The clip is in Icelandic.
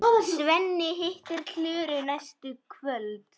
Svenni hittir Klöru næstu kvöld.